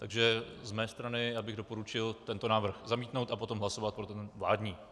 Takže z mé strany bych doporučil tento návrh zamítnout a potom hlasovat pro ten vládní.